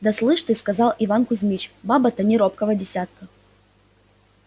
да слышь ты сказал иван кузмич баба то не робкого десятка